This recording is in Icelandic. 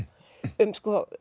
um